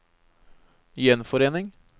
gjenforening